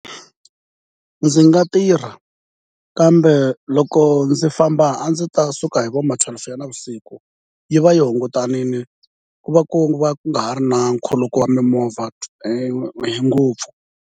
Ndzi nga tirha kambe loko ndzi famba a ndzi ta suka hi vo mathwelufu ya navusiku yi va yi hungutanile ku va ku va ku nga ha ri na nkhuluko wa mimovha hi ngopfu.